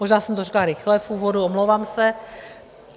Možná jsem to řekla rychle v úvodu, omlouvám se.